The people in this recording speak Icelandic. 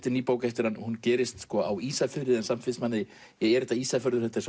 er ný bók eftir hann hún gerist á Ísafirði en samt finnst manni er þetta Ísafjörður þetta er